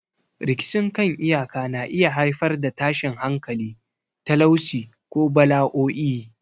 Rikicin kan iyaka na iya haifar da tashin hankali, talauci, ko bala'o'i.